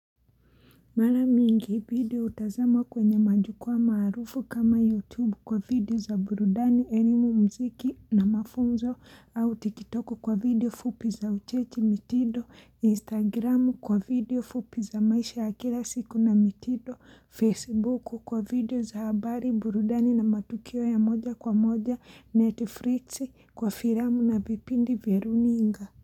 Mala mingi video hutazama kwenye majukwa maarufu kama YouTube kwa video za burudani, elimu muziki na mafunzo au tikitoko kwa video fupi za ucheshi mitindo, Instagram kwa video fupi za maisha akira siku na mitindo, Facebook kwa video za habari burudani na matukio ya moja kwa moja Netflix kwa firamu na vipindi vya runinga.